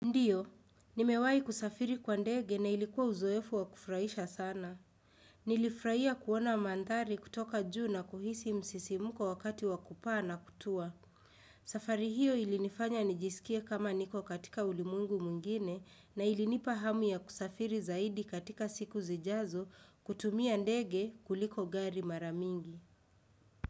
Ndiyo, nimewahi kusafiri kwa ndege na ilikuwa uzoefu wa kufurahisha sana. Nilifurahia kuona mandhari kutoka juu na kuhisi msisimuko wakati wa kupaa na kutua. Safari hiyo ilinifanya nijisikie kama niko katika ulimwengu mwingine na ilinipa hamu ya kusafiri zaidi katika siku zijazo kutumia ndege kuliko gari mara mingi.